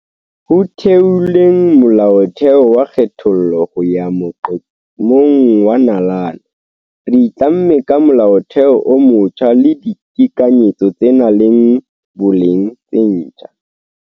Ho theoleng Molaotheo wa kgethollo ho ya moqo-mong wa nalane, re itlamme ka Molaotheo o motjha le ditekanyetso tse nang le boleng tse ntjha.